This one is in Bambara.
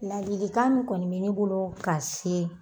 Ladilikan min kɔni be ne bolo ka se